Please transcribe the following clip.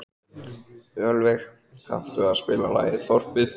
Ölveig, kanntu að spila lagið „Þorpið“?